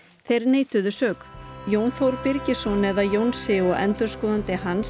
þeir neituðu sök Jón Þór Birgisson eða Jónsi og endurskoðandi hans